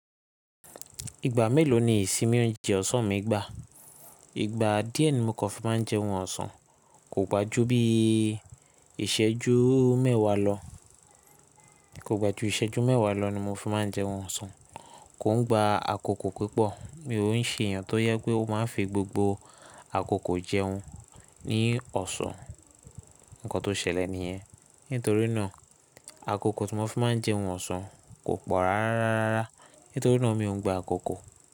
Ìgbà mélòó ni ìsinmi ó ń jẹ ọ̀sán mi gbá? Ìgbà díẹ̀ ni mo kan fi máa ń jẹun ọ̀sán. Kò gba jú bíi ìṣẹ́jú mẹ́wàá lọ, kò gba jú ìṣẹ́jú mẹ́wàá lọ ni mo fi máa ń jeun ọ̀sán. Kò ń gba àkókò pupọ̀. Mi ò ń ṣe èèyàn tó yẹ́ pé ó máa ń fi gbogbo àkókò jẹun ní ọ̀sán. Nǹkan tó ṣẹlẹ̀ nìyẹ́n. Nítorínà àkókò tí mo fi máa ń jẹun ọ̀sán kò pọ̀ rárá. Nítorínà mi ò ń gba àkókò.